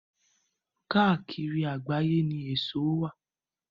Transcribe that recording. Káàkiri àgbáyé ni èso wà